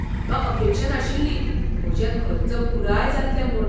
म्हाका अपेक्षा नाशिल्ली म्हजे खर्च पुराय जातले म्हूण.